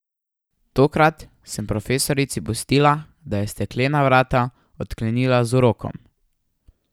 Tokrat sem profesorici pustila, da je steklena vrata odklenila z urokom.